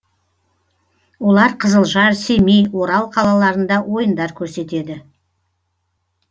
олар қызылжар семей орал қалаларында ойындар көрсетеді